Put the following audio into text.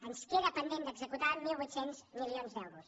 ens queden pendents d’executar mil vuit cents milions d’euros